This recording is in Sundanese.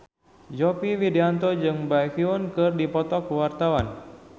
Yovie Widianto jeung Baekhyun keur dipoto ku wartawan